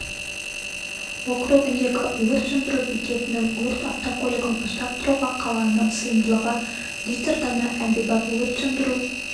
округіндегі өрт сөндіру бекетінің өрт автокөлігін ұстап тұруға қалғаны сыйымдылығы литр дана әмбебап өрт сөндіру